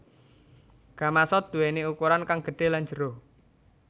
Gamasot nduwéni ukuran kang gedhé lan jero